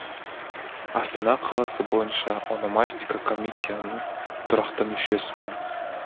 астана қаласы бойынша ономастика комиссияның тұрақты мүшесімін